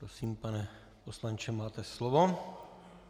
Prosím, pane poslanče, máte slovo.